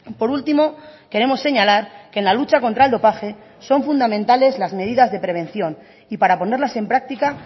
por último queremos señalar que en la lucha contra el dopaje son fundamentales las medidas de prevención y para ponerlas en práctica